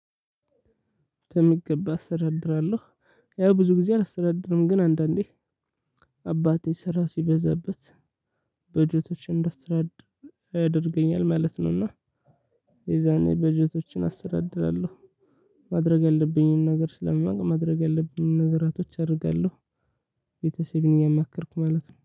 በሚገባ አስተዳድራለሁ ያው ብዙ ጊዜ አላስተዳድርም ግን አንዳንዴ አባቴ ስራ ሲበዛበት በጀቶችን እንዳስተዳድር ያደርገኛል ማለት ነውና የዛኔ በጀቶችን አስተዳድራለሁ። ማድረግ ያለብኝን ነገር ስለማውቅ ማድረግ ያለብኝን ነገራቶች አደርጋለሁ። ቤተሰቤን እያማከርኩ ማለት ነው